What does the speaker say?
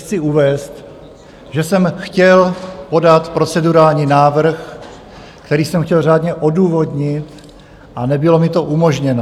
Chci uvést, že jsem chtěl podat procedurální návrh, který jsem chtěl řádně odůvodnit, a nebylo mi to umožněno.